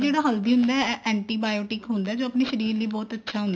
ਜਿਹੜਾ ਹਲਦੀ ਹੈ ਨਾ antibiotic ਹੁੰਦਾ ਜੋ ਆਪਣੇ ਸ਼ਰੀਰ ਲਈ ਬਹੁਤ ਅੱਛਾ